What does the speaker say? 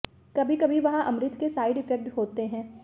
कभी कभी वहाँ अमृत के साइड इफेक्ट होते हैं